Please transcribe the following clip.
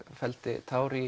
felldi tár í